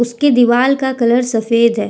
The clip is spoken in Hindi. इसके दीवाल का कलर सफेद है।